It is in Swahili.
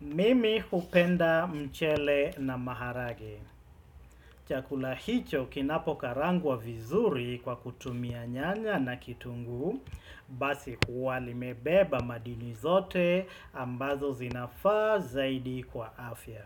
Mimi hupenda mchele na maharage. Chakula hicho kinapo karangwa vizuri kwa kutumia nyanya na kitunguu, basi huwa limebeba madini zote ambazo zinafaa zaidi kwa afya.